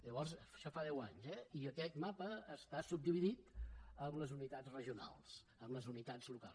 llavors d’això fa deu anys eh i aquest mapa està subdividit en les unitats regionals en les unitats locals